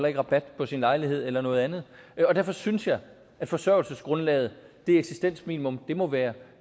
ikke rabat på sin lejlighed eller noget andet og derfor synes jeg at forsørgelsesgrundlaget det eksistensminimum må være